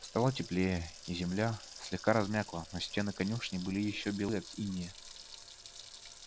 стало теплее и земля слегка размякла но стены конюшни были ещё белы от инея